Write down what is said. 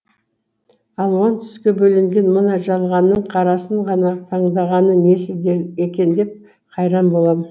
алуан түске бөленген мына жалғанның қарасын ғана таңдағаны несі екен деп қайран болам